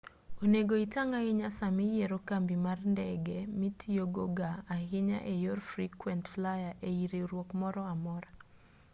onego itang' ahinya samiyiero kambi mar ndege mitiyogo ga ahinya e yor frequent flyer ei riwruok moro amora